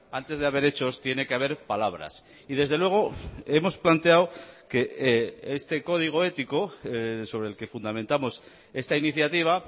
antes de haber hechos tiene que haber palabras y desde luego hemos planteado que este código ético sobre el que fundamentamos esta iniciativa